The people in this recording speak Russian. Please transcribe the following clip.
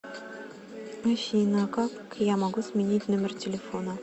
афина как я могу сменить номер телефона